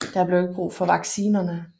Der blev ikke brug for vaccinerne